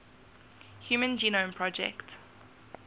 human genome project